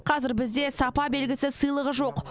қазір бізде сапа белгісі сыйлығы жоқ